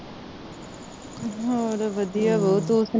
ਹੋਰ ਵਧੀਆ ਬਾਊ ਤੂੰ ਸੁਣਾ